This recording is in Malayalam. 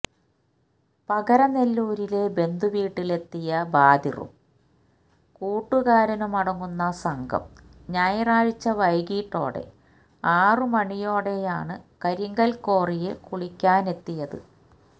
പകരനെല്ലൂരിലെ ബന്ധുവീട്ടിലെത്തിയ ബാദിറും കൂട്ടുകാരുമടങ്ങുന്ന സംഘം ഞായറാഴ്ച വൈകീട്ടോടെ ആറ് മണിയോടെയാണ് കരിങ്കൽ ക്വാറിയിൽ കുളിക്കാനെത്തിയത്